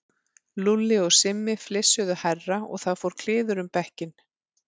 Lúlli og Simmi flissuðu hærra og það fór kliður um bekkinn.